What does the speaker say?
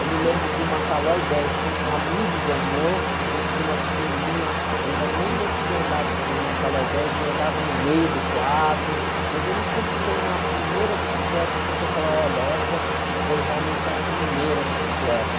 Eu me lembro de uma Calói dez, que um amigo ganhou, a gente tinha uma pequenininha, eu ainda nem conseguia andar numa Calói dez, e andava no meio do quadro, mas eu não sei se tem uma primeira bicicleta assim que eu falo, olha, essa foi realmente a primeira bicicleta.